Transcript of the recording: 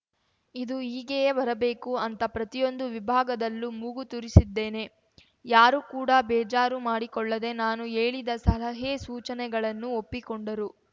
ಇದು ಹೀಗೆಯೇ ಬರಬೇಕು ಅಂತ ಪ್ರತಿಯೊಂದು ವಿಭಾಗದಲ್ಲೂ ಮೂಗು ತೂರಿಸಿದ್ದೇನೆ ಯಾರು ಕೂಡ ಬೇಜಾರು ಮಾಡಿಕೊಳ್ಳದೆ ನಾನು ಹೇಳಿದ ಸಲಹೆ ಸೂಚನೆಗಳನ್ನು ಒಪ್ಪಿಕೊಂಡರು